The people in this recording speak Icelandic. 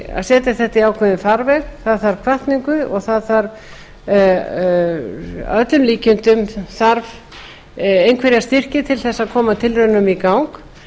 að setja þetta í ákveðinn farveg það þarf hvatningu og að öllum líkindum þarf einhverja styrki til að koma tilraunum í gang